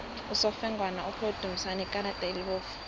usofengwana uphe udumisani ikarada elibovu